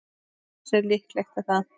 Hversu líklegt er það?